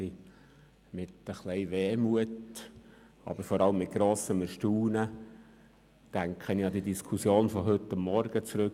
Mit ein wenig Wehmut und auch ein wenig Erstaunen denke ich an die Diskussion von heute Morgen zum HGG zurück.